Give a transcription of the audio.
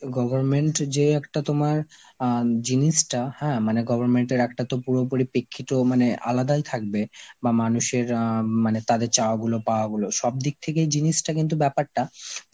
government যে একটা তোমার আ জিনিসটা, হ্যাঁ মানে government এর একটা তো পুরোপুরি প্রেক্ষিত মানে আলাদাই থাকবে, বা মানুষের আঁ মানে তাদের চাওয়া গুলো পাওয়া গুলো, সবদিক থেকেই জিনিসটা কিন্তু ব্যাপারটা